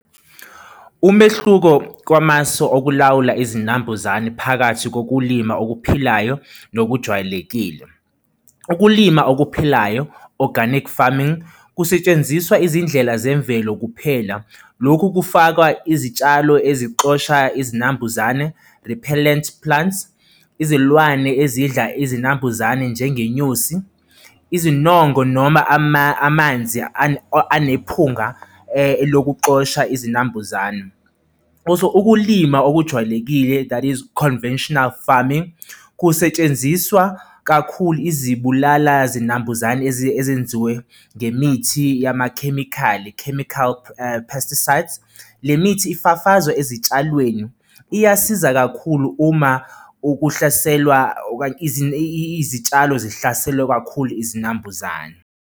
Umehluko kwamasu okulawula izinambuzane phakathi kokulima okuphilayo nokujwayelekile. Ukulima okuphilayo, organic farming kusetshenziswa izindlela zemvelo kuphela. Lokhu kufaka izitshalo ezixosha izinambuzane, the pellent plants, izilwane ezidla izinambuzane njengenyosi, izinongo noma amanzi anephunga lokuxosha izinambuzane. Also ukulima okujwayelekile, that is conventional farming kusetshenziswa kakhulu izibulala zinambuzane ezenziwe ngemithi yamakhemikhali, chemical pesticides, le mithi ifafazwa ezitshalweni, iyasiza kakhulu uma uhlaselwa okanye izitshalo zihlaselwa kakhulu izinambuzane.